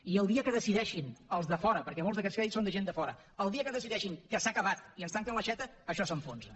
i el dia que decideixin els de fora perquè molts d’aquests crèdits són de gent de fora que s’ha acabat i ens tanquen l’aixeta això s’enfonsa